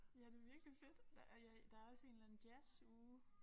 Ja det virkelig fedt der er ja der også en eller anden jazzuge